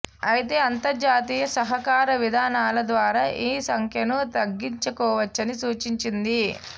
అయితే అంతర్జాతీయ సహకార విధానాల ద్వారా ఈ సంఖ్యను తగ్గించుకోవచ్చని సూచించింది